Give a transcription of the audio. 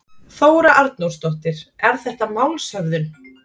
Þóra Arnórsdóttir: Er þetta málshöfðun?